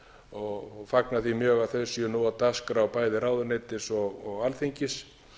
og fagna því mjög að þau séu nú á dagskrá bæði ráðuneytis og alþingis